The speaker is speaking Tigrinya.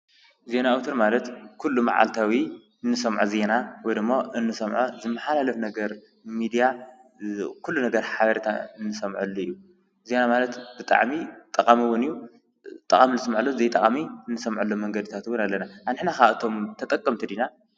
ዜና ኣውታር ማለት ኩሉ ማዓልታዊ እንሰሞዖ ዜና ወይ ደሞ እንሰምዖ ዝመሓላለፍ ነገር ሚድያ ኩሉ ነገር ሓቢርካ ዝስመዐሉ እዩ። ዜና ማለት ብጣዕሚ ጠቃሚ እዉን እዩ። ጠቃሚ እንሰምዐሉ ጠቃሚ ዘይንሰምዐሉን መንገድታት እዉን አለና። ንሕና ከ ካብኣቶም ተጠቀምቲ ዲና?